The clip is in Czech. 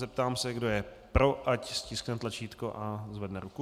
Zeptám se, kdo je pro, ať stiskne tlačítko a zvedne ruku.